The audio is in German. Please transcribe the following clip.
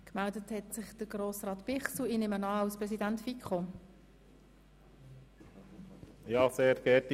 Gemeldet hat sich Daniel Bichsel – ich nehme an, in seiner Funktion als Präsident der FiKo.